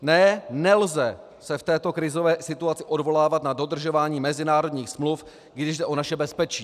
Ne, nelze se v této krizové situaci odvolávat na dodržování mezinárodních smluv, když jde o naše bezpečí.